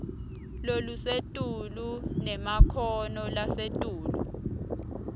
lolusetulu nemakhono lasetulu